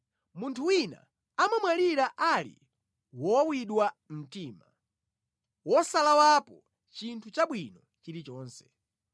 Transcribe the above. Munthu wina amamwalira ali wowawidwa mtima, wosalawapo chinthu chabwino chilichonse.